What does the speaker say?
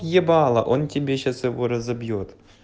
ебало он тебе сейчас его разобьёт